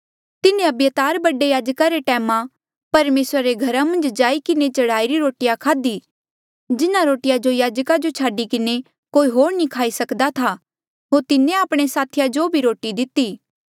तिन्हें अबियातार बडे याजका रे टैमा परमेसरा रे घरा मन्झ जाई किन्हें चढ़ाईरी रोटिया खाध्ही जिन्हा रोटिया जो याजका जो छाडी किन्हें कोई होर नी खाई सक्दा था होर तिन्हें आपणे साथिया जो भी रोटिया दिती